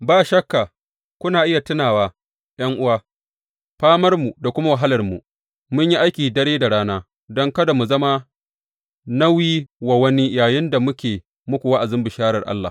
Ba shakka kuna iya tunawa, ’yan’uwa, famarmu da kuma wahalarmu; mun yi aiki dare da rana don kada mu zama nauyi wa wani yayinda muke muku wa’azin bisharar Allah.